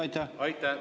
Aitäh!